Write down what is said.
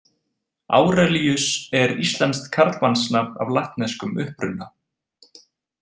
Árelíus er íslenskt karlmannsnafn af latneskum uppruna.